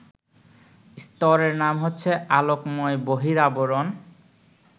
স্তরের নাম হচ্ছে আলোকময় বহিরাবরণ